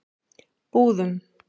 Búðum